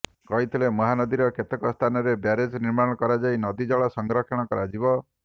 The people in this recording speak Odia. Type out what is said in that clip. କହିଥିଲେ ମହାନଦୀର କେତେକ ସ୍ଥାନରେ ବ୍ୟାରେଜ ନିର୍ମାଣ କରାଯାଇ ନଦୀ ଜଳ ସଂରକ୍ଷଣ କରାଯିବ